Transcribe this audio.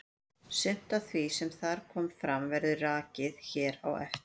Sumt af því sem þar kom fram verður rakið hér á eftir.